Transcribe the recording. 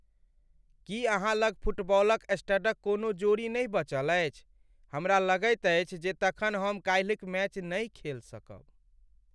की अहाँ लग फुटबॉलक स्टडक कोनो जोड़ी नहि बचल अछि? हमरा लगैत अछि जे तखन हम काल्हिक मैच नहि खेल सकब ।